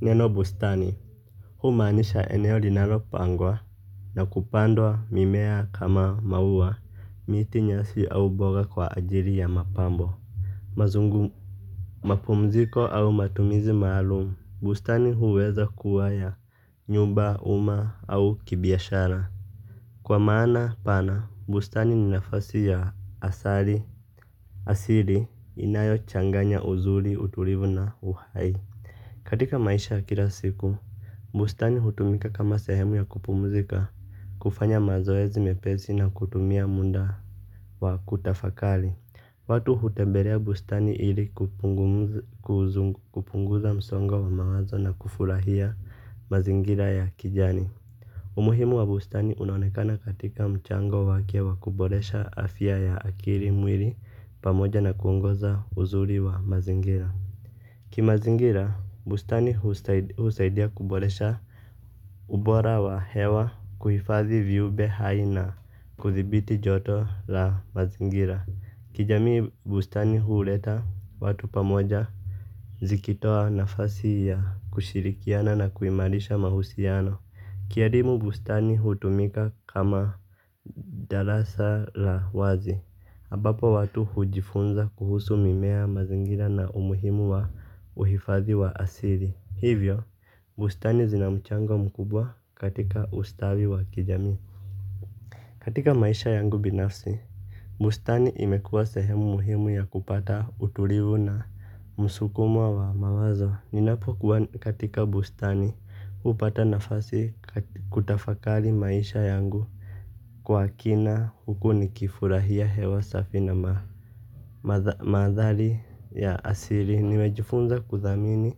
Neno bustani humaanisha eneo linalo pangwa na kupandwa mimea kama maua miti nyasi au mboga kwa ajili ya mapambo. Mazungu mapumziko au matumizi maalumu bustani huweza kuwa ya nyumba uma au kibiashara. Kwa maana pana bustani ni nafasi ya asali. Asili inayo changanya uzuri utulivu na uhai. Katika maisha ya kila siku bustani hutumika kama sehemu ya kupumzika, kufanya mazoezi mepesi na kutumia muda wa kutafakari. Watu hutembelea bustani ili kupunguza msongo wa mawazo na kufurahia max ya kijani. Umuhimu wa bustani unaonekana katika mchango wake wa kuboresha afya ya akili mwili pamoja na kuongoza uzuri wa mazingira. Ki mazingira, bustani husaidia kuboresha ubora wa hewa kuhifadhi viumbe hai na kuthibiti joto la mazingira. Kijamii bustani huuleta watu pamoja zikitoa nafasi ya kushirikiana na kuimarisha mahusiano. Kielimu bustani hutumika kama darasa la wazi ambapo watu hujifunza kuhusu mimea mazingira na umuhimu wa uhifadhi wa asili. Hivyo, bustani zina mchango mkubwa katika ustawi wa kijamii. Katika maisha yangu binafsi bustani imekuwa sehemu muhimu ya kupata utulivu na msukumo wa mawazo ninapokuwa katika bustani hupata nafasi ya kutafakari maisha yangu kwa kina huku nikifurahia hewa safi na ma mandhari ya asili nimejifunza kuthamini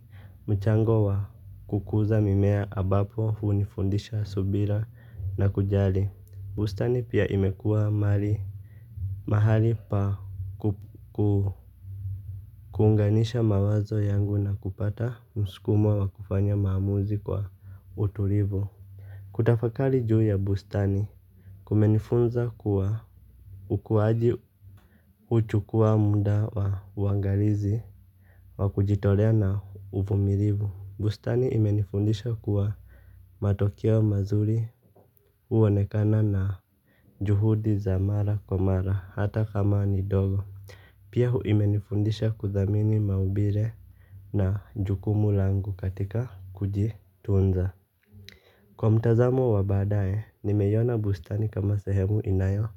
mchango wa kukuza mimea ambapo hunifundisha subira na kujali. Bustani pia imekuwa mali mahali pa kukuunganisha mawazo yangu na kupata mskumo wa kufanya maamuzi kwa utulivu. Kutafakari juu ya bustani kumenifunza kuwa ukuaji. Huchukua muda wa uangalizi wa kujitolea na uvumilivu. Bustani imenifundisha kuwa matokeo mazuri huonekana na juhudi za mara kwa mara hata kama ni ndogo. Pia hu imenifundisha kuthamini maumbile na jukumu langu katika kuji tunza. Kwa mtazamo wa badae, nimeiona bustani kama sehemu inayo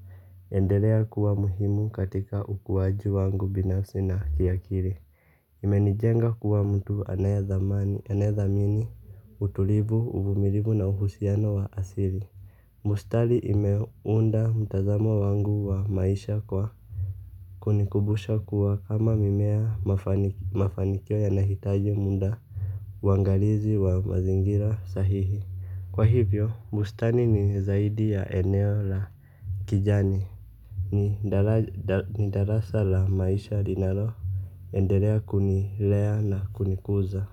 endelea kuwa muhimu katika ukuwaji wangu binafsi na kiakili. Imenijenga kuwa mtu anayethamani, anayathamini, utulivu, uvumilivu na uhusiano wa asili. Bustari imeunda mtazamo wangu wa maisha kwa kunikubusha kuwa kama mimea mafanikio yanahitaji muda. Uangalizi wa mazingira sahihi kwa hivyo, bustani ni zaidi ya eneo la kijani. Ni darasa la maisha linalo endelea kunilea na kunikuza.